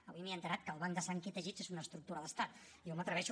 avui m’he assabentat que el banc de sang i teixits és una estructura d’estat i jo m’atreveixo